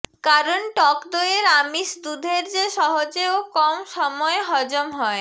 কারন টক দইয়ের আমিষ দুধের চেয়ে সহজে ও কম সময়ে হজম হয়